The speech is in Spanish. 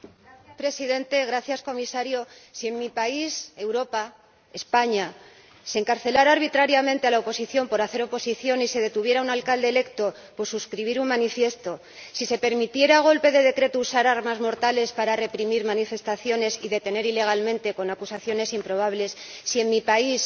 Señor Presidente, señor Comisario, si en mi país, Europa, España, se encarcelara arbitrariamente a la oposición por hacer oposición y se detuviera a un alcalde electo por suscribir un manifiesto, si se permitiera a golpe de decreto usar armas mortales para reprimir manifestaciones y detener ilegalmente con acusaciones improbables Si en mi país,